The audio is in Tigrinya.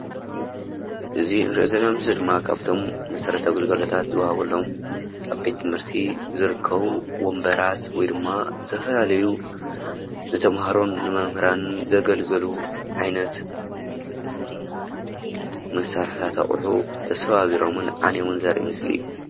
እዚ እንርእዩ ዘለና ምስሊ ድማ ካብቶም መሰረታዊ ግልጋሎታት ዝዋሃበሎም ኣብ ቤት ትምህርቲ ዝርከቡ ወንበራት ወይድማ ዝተፈላለዩ ንተማሃሮን ንመምህራን ዘገልግሉ ዓይነት መሳርሒታት ኣቁሑ ተሰባቢሮምን ዓንዮም ዘርኢ ምስሊ እዩ።